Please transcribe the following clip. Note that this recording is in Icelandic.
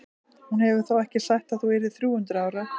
Hún hefur þó ekki sagt að þú yrðir þrjú hundruð ára?